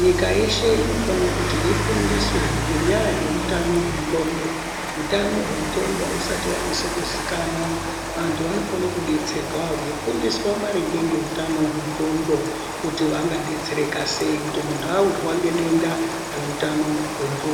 Nyika yeshe inofana kuti ifundiswe ngenyaya yeutano hwendxondo. Hutano hwendxondo hausati vanyatso kuzikanwa vantu vanofana kubetserwa veifundiswa maringe ngeutano hwendxondo. Kuti vangabetsereka sei kuti avirwa ngedenda reutano hwendxondo.